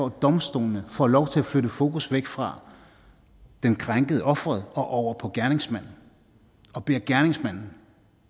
at domstolene får lov til at flytte fokus væk fra den krænkede offeret og over på gerningsmanden og beder gerningsmanden